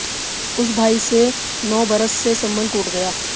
उस भाई से नौ बरस से संबंध टूट गया